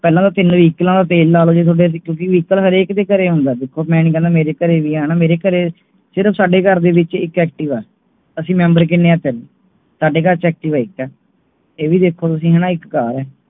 ਪਹਿਲਾਂ ਤਾਂ ਵਹੀਕਲਾਂ ਤੇ ਤੇਲ ਡਾਲੋ ਕਿਉਂਕਿ Vehicle ਹਰ ਏਕ ਦੇ ਘਰੇ ਆਉਂਦਾ ਹੈ ਮੈਂ ਨਹੀਂ ਕਹਿਣਾ ਮੇਰੇ ਘਰੇ ਵੀ ਨਹੀਂ ਸਿਰਫ ਸਾਡੇ ਘਰ ਦੇ ਵਿੱਚ ਇਕ Activa ਅਸੀਂ Member ਕੀਨੇ ਹੈ ਤੀਨ ਸਾਡੇ ਘਰ Activa ਇਕ ਇਹ ਵੀ ਵੇਖੋ ਵਿੱਚਕਾਰ ਹੈ